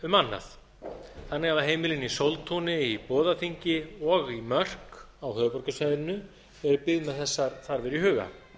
um annað þannig hafa heimilin í sóltúni í boðaþingi og í mörk á höfuðborgarsvæðinu verið byggð með þessar þarfir í huga